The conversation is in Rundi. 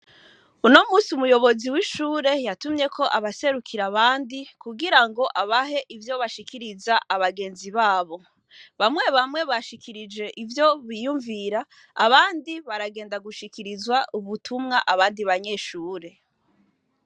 Uno munsi umuyobozi wishure yatumyeko abaserukira abandi kugira ngo abahe ivyo bashikiriza abagenzi babo bamwe bamwe bashikirije ivyo biyumvira abandi baragenda gushikiriza ubutumwa abandi banyeshure.